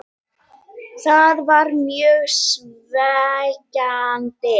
Það var mjög svekkjandi.